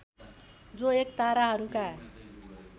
जो एक ताराहरूका